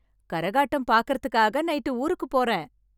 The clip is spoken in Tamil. கரகாட்டம் பார்க்கறதுக்காக நைட்டு ஊருக்கு போறேன்.